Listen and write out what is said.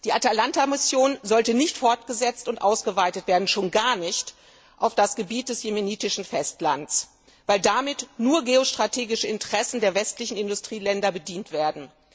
Die Atalanta Mission sollte nicht fortgesetzt und ausgeweitet werden, schon gar nicht auf das Gebiet des jemenitischen Festlands, weil damit nur geostrategische Interessen der westlichen Industrieländer bedient würden.